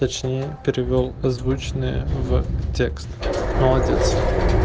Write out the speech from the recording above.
точнее перевёл озвученное в текст молодец